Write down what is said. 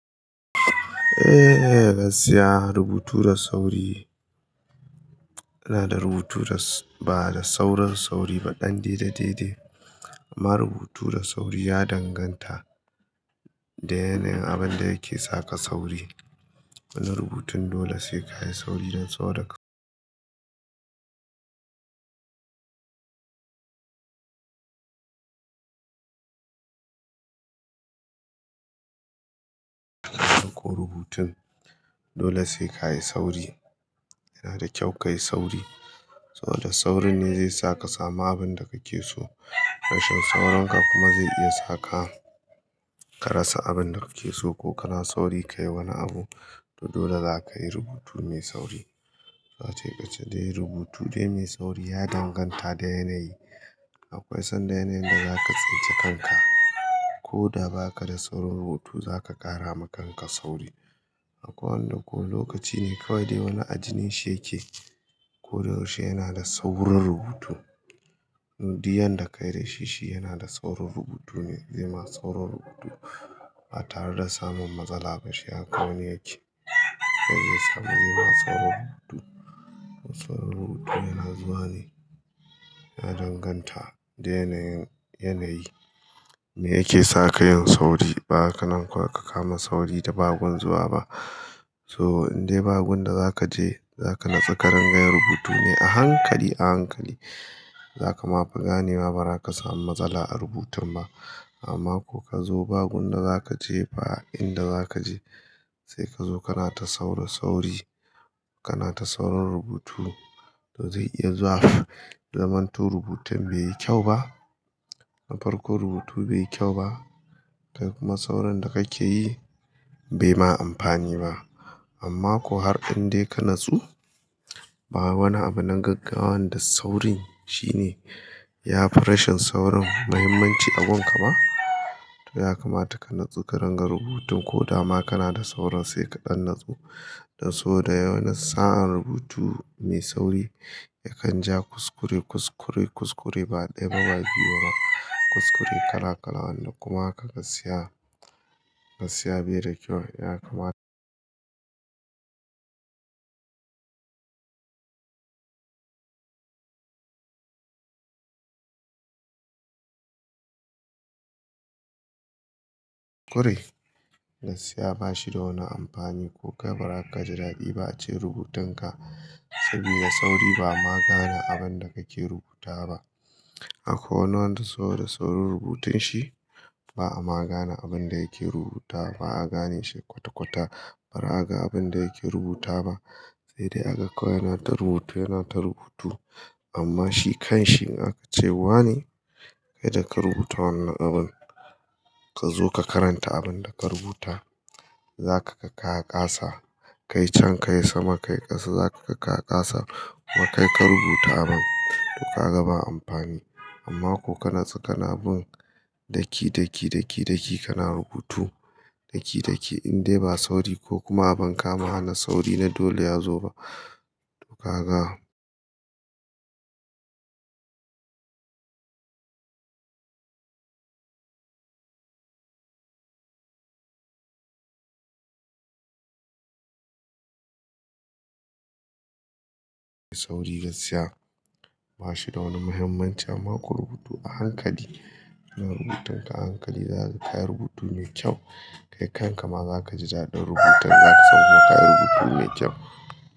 Eh, gaskiya rubutu da sauri inada rubutu da ba da sauran sauri ba ɗan daidai daidai. Amma rubutu da sauri ya danganta da yanayin abin da yake saka sauri. Wani rubutun dole sai ka yi sauri don tsorata. Ko rubutun dole sai ka yi sauri. Yana da kyau ka yi sauri saboda saurin ne zai saka sama abin da kake so. Rashin saurinka kuma zai iya saka ka rasa abin da kake so ko kana sauri ka yi wani abu. To dole za ka yi rubutu mai sauri. Wace kace dai rubutu dai mai sauri ya danganta da yanayi. Akwai son da yanayin da zaka tsince kanka. Ko da ba ka da saurin rubutu, za ka ƙara ma kanka sauri. Akwai wanda ko lokaci ne kawai dai wani ajinin shi yake ko da yaushe yana da saurin rubutu. Nudiyan da ka yi da shi, shi yana da saurin rubutu ne, zai ma saurin rubutu. Ba tare da samun matsala ba, shi haka wani yake. To dole za ka yi rubutu mai sauri. Saurin rubutu yana zuwa ne. Ya danganta da yanayin yanayi me yake sa ka yin sauri. Ba ka nan kuwa ka kama sauri da ba gun zuwa ba. To in dai ba gun da za ka je, za ka natsu ka ranga rubutu ne a hankali a hankali. Za ka ma fi ganewa ba za ka samu matsala a rubutun ba. Amma ko ka zo ba gun da za ka je ba, inda za ka je sai ka zo kana ta saura sauri. Kana ta saurin rubutu, to zai iya zuwa zamanto rubutun bai yi kyau ba. Na farko rubutu bai yi kyau ba. Kuma sauran da kake yi bai ma amfani ba. Amma ko har in dai ka natsu, ba wani abu nan gaggawan da saurin shine. Ya fi rashin saurin muhimmanci a gunka ma to ya kamata ka natsu ka ranga rubutun ko dama kana da sauran sai kaɗan natsu. Don so da yawan sa'an rubutu mai sauri yakan ja kuskure kuskure kuskure baɗi. Mabayi yoron kuskure kala kalawan da kuma haka ka siya ka siya bai da kyau. Ya kamata kuskure gaskiya ba shi da wani amfani ko ka ba ka ji daɗi ba a ce rubutunka. Saboda sauri ba ma gane abin da kake rubuta ba. Akwai wanda so da saurin rubutun shi ba a ma gane abin da yake rubuta ba. A gane shi kwata kwata bara a ga abin da yake rubuta ba. Sai dai a ga kawai yana ta rubutu yana ta rubutu. Amma shi kanshi in aka ce wane kai da ka rubuta wannan abun. Ka zo ka karanta abin da ka rubuta. Za ka ga ka kasa kai can kai sama kai ƙasa. Za ka ga ka kasa kuma kai ka rubuta abun. To ka ga ba amfani. Amma ko ka natsu kana bin daki daki daki daki kana rubutu daki daki in dai ba sauri ko kuma a ban kama hana sauri na dole ya zo ba. To ka ga sauri gaskiya ba shi da wani muhimmanci. Amma ko rubutu a hankali. Ina rubutun ka a hankali za ka kayi rubutu mai kyau. Kai kanka ma za ka ji daɗin rubutar za ka san kuma ka yi rubutu ne kyau.